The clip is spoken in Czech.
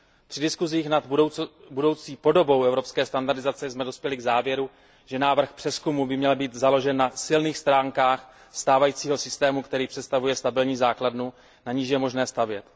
Při diskusích o budoucí podobě evropské standardizace jsme dospěli k závěru, že návrh přezkumu by měl být založen na silných stránkách stávajícího systému, který představuje stabilní základnu, na níž je možné stavět.